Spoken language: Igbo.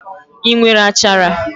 I nwere achara?